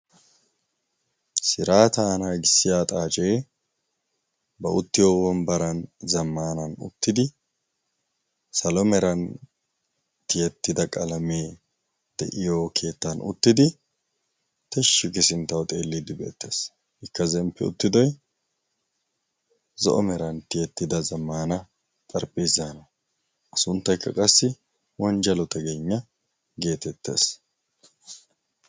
siraataanaa gissi aa xaacee ba uttiyo huwon baran zammanan uttidi salo meran tiyettida qalamee de7iyo keettan uttidi teshshi gisinttau xeelliiddi beettees ikka zemppi uttidoi zo7o meran tiyettida zammana xarphphiiszaana a sunttaikka qassi wonjjalo ta gennya geetettees